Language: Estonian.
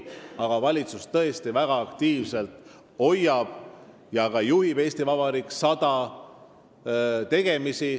Aga valitsus tõesti jälgib väga aktiivselt ja ka juhib "Eesti Vabariik 100" toimkonna tegemisi.